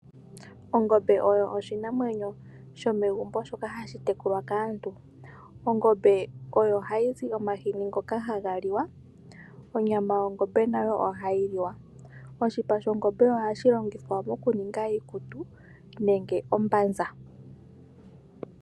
Ongombe oyo oshinamwenyo shomegumbo shoka hashi tekulwa kaantu. Ongombe oyo hayi zi omahini ngoka haga liwa. Onyama yongombe nayo ohayi liwa. Oshipa shongombe nasho wo ohashi longithwa oku ninga iikutu noshowo ombanza.